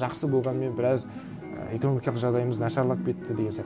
жақсы болғанымен біраз і экономикалық жағдайымыз нашарлап кетті деген сияқты